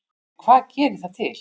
En hvað gerir það til